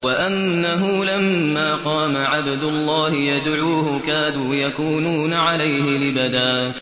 وَأَنَّهُ لَمَّا قَامَ عَبْدُ اللَّهِ يَدْعُوهُ كَادُوا يَكُونُونَ عَلَيْهِ لِبَدًا